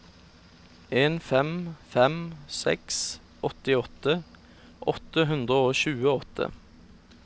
en fem fem seks åttiåtte åtte hundre og tjueåtte